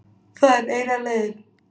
Það er eina leiðin